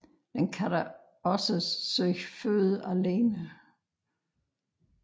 Den kan dog også søge føde alene